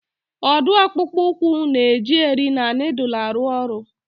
Ọ dụụ akpụkpụ ụkwụ na-eji eri na nịịdụlụ arụ ọrụ.